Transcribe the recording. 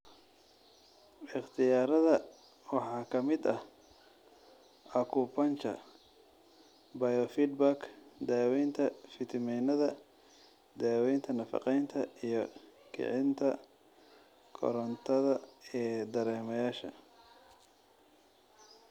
Ikhtiyaarada waxaa ka mid ah acupuncture, biofeedback, daaweynta fiitamiinada, daaweynta nafaqeynta, iyo kicinta korantada ee dareemayaasha.